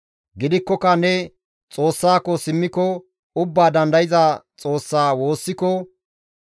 Gidikkoka ne Xoossako simmiko, Ubbaa Dandayza Xoossa woossiko,